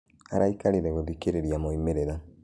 Araĩkarĩre gũthikirĩria moimirĩra.